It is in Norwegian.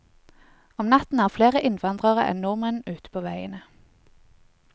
Om natten er flere innvandrere enn nordmenn ute på veiene.